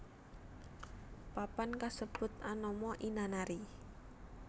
Papan kasebut anama Inanari